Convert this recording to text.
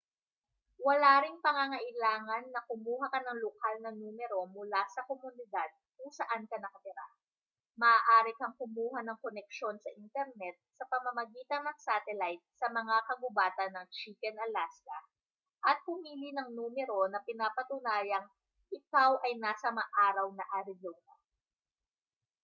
wala ring pangangailangan na kumuha ka ng lokal na numero mula sa komunidad kung saan ka nakatira maaari kang kumuha ng koneksyon sa internet sa pamamagitan ng satelayt sa mga kagubatan ng chicken alaska at pumili ng numero na pinapatunayang ikaw ay nasa maaraw na arizona